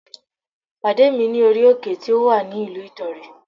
Pàdé mi ní orí òkè tí ó wà ní ìlú Ìdànrè